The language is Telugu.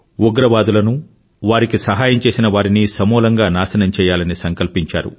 ఉగ్రవాదులను వారికి సహాయం చేసిన వారిని సమూలంగా నాశనం చెయ్యాలని సంకల్పించారు